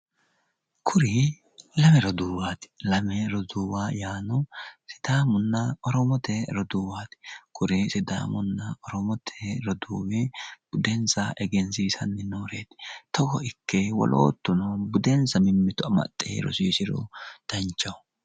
kuri lame roduuwaati lame roduuwi yaano sidaamunna oromote roduuwaati kuri sidaamunna oromote roduuwi budensa egensiisanni nooreeti togo ikke woloottuno budenssa mimmito amaxxe rosiisiro danchaho.